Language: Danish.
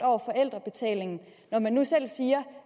over forældrebetalingen når man nu selv siger